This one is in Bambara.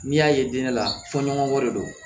N'i y'a ye den ne la fɔ ɲɔgɔn wɛrɛ don